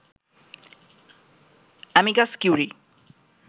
amicus curiae